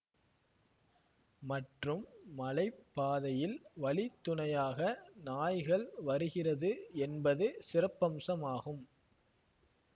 மற்றும் மலை பாதையில் வழி துணையாக நாய்கள் வருகிறது என்பது சிறப்பம்சமாகும்